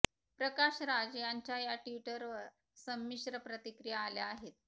प्रकाश राज यांच्या या ट्विटवर संमिश्र प्रतिक्रिया आल्या आहेत